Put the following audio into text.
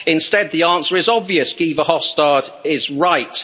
Instead, the answer is obvious, Guy Verhofstadt is right.